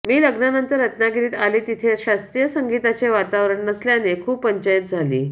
मी लग्नानंतर रत्नागिरीत आले तिथे शास्त्रीय संगीताचे वातावरण नसल्याने खूप पंचाईत झाली